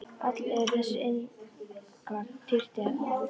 Öll eru þessi innskot tertíer að aldri.